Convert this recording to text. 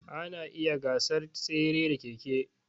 Ana iya gasar tsere da keke.